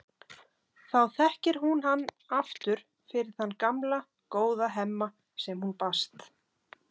Þá þekkir hún hann aftur fyrir þann gamla, góða Hemma sem hún bast.